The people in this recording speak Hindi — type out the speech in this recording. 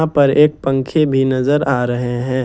ऊपर एक पंखे भी नजर आ रहे हैं।